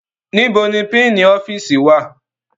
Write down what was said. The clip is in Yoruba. Níbo ni pínǹì ọ́fíìsì wà?